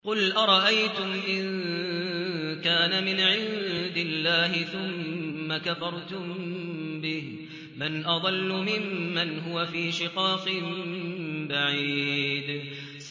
قُلْ أَرَأَيْتُمْ إِن كَانَ مِنْ عِندِ اللَّهِ ثُمَّ كَفَرْتُم بِهِ مَنْ أَضَلُّ مِمَّنْ هُوَ فِي شِقَاقٍ بَعِيدٍ